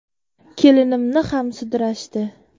Kelinimni ham sudrashdi.